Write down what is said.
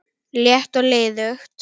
létt og liðug